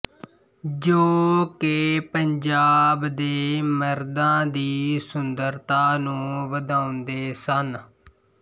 ਜੋ ਕਿ ਪੰਜਾਬ ਦੇ ਮਰਦਾਂ ਦੀ ਸੁੰਦਰਤਾ ਨੂੰ ਵਧਾਉਂਦੇ ਸਨ